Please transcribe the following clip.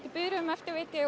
í biðröðum eftir